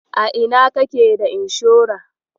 A ina kake da inshora?